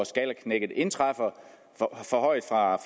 skalaknækket indtræffer forhøjet fra